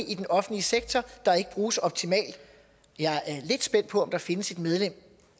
i den offentlige sektor der ikke bruges optimalt jeg er lidt spændt på om der findes et medlem